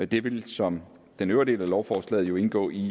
det vil som den øvrige del af lovforslaget jo indgå i